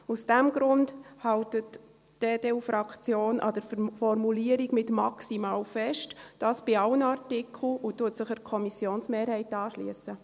Aus diesem Grund hält die EDU-Fraktion an der Formulierung mit «maximal» fest, dies bei allen Artikeln, und schliesst sich der Kommissionsmehrheit an.